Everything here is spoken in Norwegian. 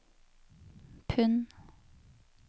pund